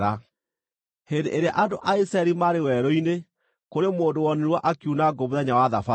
Hĩndĩ ĩrĩa andũ a Isiraeli maarĩ werũ-inĩ, kũrĩ mũndũ wonirwo akiuna ngũ mũthenya wa Thabatũ.